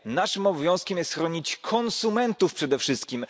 Naszym obowiązkiem jest chronić konsumentów przede wszystkim.